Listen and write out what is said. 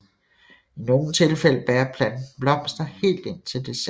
I nogle tilfælde bærer planten blomster helt indtil december